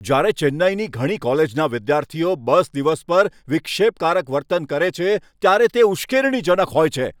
જ્યારે ચેન્નાઈની ઘણી કોલેજોના વિદ્યાર્થીઓ બસ દિવસ પર વિક્ષેપકારક વર્તન કરે છે, ત્યારે તે ઉશ્કેરણીજનક છે.